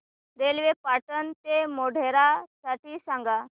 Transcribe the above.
railway Patan ते मोढेरा साठी सांगा